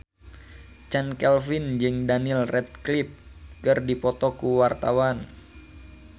Chand Kelvin jeung Daniel Radcliffe keur dipoto ku wartawan